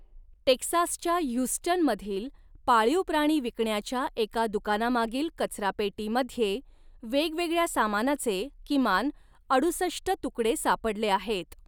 टेक्सासच्या Houston मधील पाळीव प्राणी विकण्याच्या एका दुकानामागील कचरा पेटीमध्ये वेगवेगळ्या सामानाचे किमान अडुसष्ट तुकडे सापडले आहेत.